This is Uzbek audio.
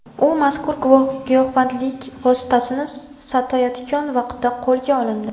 U mazkur giyohvandlik vositasini sotayotgan vaqtda qo‘lga olindi.